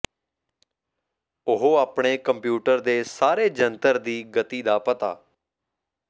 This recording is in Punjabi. ਉਹ ਆਪਣੇ ਕੰਪਿਊਟਰ ਦੇ ਸਾਰੇ ਜੰਤਰ ਦੀ ਗਤੀ ਦਾ ਪਤਾ